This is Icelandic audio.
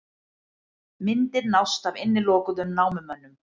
Myndir nást af innilokuðum námumönnum